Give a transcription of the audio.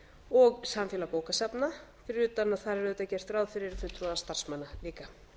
og samfélag bókasafna fyrir utan að þar er auðvitað gert ráð fyrir fulltrúa starfsmanna líka